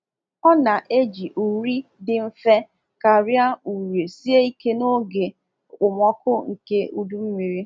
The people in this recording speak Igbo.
Ọ na-eji uri dị mfe karia uri sie ike n’oge okpomọkụ nke udu mmiri.